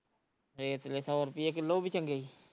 ਵੇਖਲੇ ਸੋ ਰੁਪਈਏ ਕਿਲੋ ਉਹ ਵੀ ਚੰਗੇ ਈ